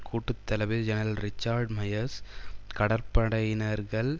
கூட்டு தளபதி general Richard Myers கடற்படையினர்கள்